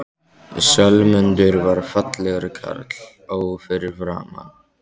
Sölmundur var fallegur karl, ó fyrir framan.